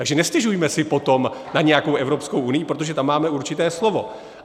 Takže nestěžujme si potom na nějakou Evropskou unii, protože tam máme určité slovo.